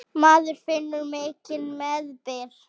Maður finnur mikinn meðbyr.